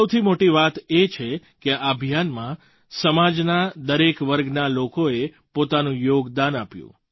સૌથી મોટી વાત એ છે કે આ અભિયાનમાં સમાજના દરેક વર્ગના લોકોએ પોતાનું યોગદાન આપ્યું